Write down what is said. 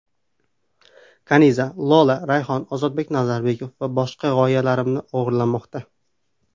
Kaniza: Lola, Rayhon, Ozodbek Nazarbekov va boshqalar g‘oyalarimni o‘g‘irlamoqda.